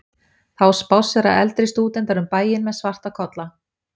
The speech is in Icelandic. Þá spássera eldri stúdentar um bæinn með svarta kolla.